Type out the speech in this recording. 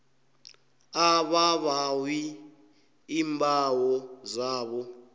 ababawi iimbawo zabo